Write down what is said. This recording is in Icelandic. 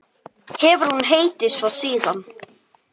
Hefur hún heitið svo síðan.